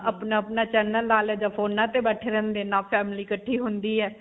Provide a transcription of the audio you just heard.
ਆਪਣਾ-ਆਪਣਾ channel ਲਾ ਲਏ ਜਾਂ ਫੋਨਾਂ ਤੇ ਬੈਠੇ ਰਹਿੰਦੇ, ਨਾ family ਇਕੱਠੀ ਹੁੰਦੀ ਹੈ.